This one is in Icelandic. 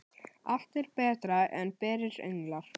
Allt er betra en berir önglar.